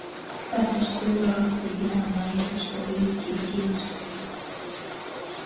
Þetta stuðlar að því að hann nærist og auki kyn sitt.